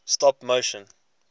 stop motion